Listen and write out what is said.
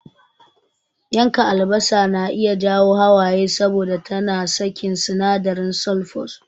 Yanka albasa na iya jawo hawaye saboda tana sakin sinadarin sulfurous.